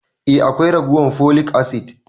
Eh akwai ragowan folic acid.